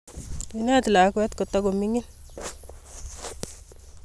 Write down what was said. Ineet lakwet kotukomining